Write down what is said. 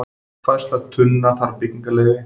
Færsla tunna þarf byggingarleyfi